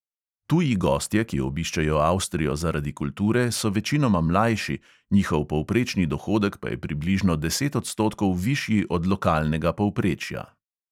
Tuji gostje, ki obiščejo avstrijo zaradi kulture, so večinoma mlajši, njihov povprečni dohodek pa je približno deset odstotkov višji od lokalnega povprečja.